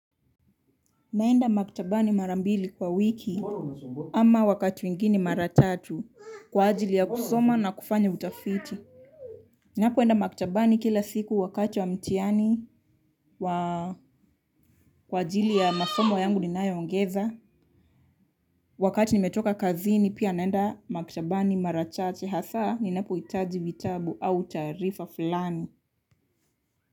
Naenda maktabani mara mbili kwa wiki ama wakati mwingine mara tatu kwa ajili ya kusoma na kufanya utafiti. Ninapoenda maktabani kila siku wakati wa mtihani kwa ajili ya masomo yangu ninayoongeza. Wakati nimetoka kazini pia naenda maktabani mara chache hasa ninapohitaji vitabu au taarifa fulani.